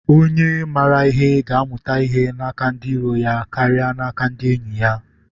Onye mara ihe ga-amụta ihe n’aka ndị iro ya karịa n’aka ndị enyi ya